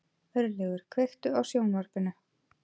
Örlygur, kveiktu á sjónvarpinu.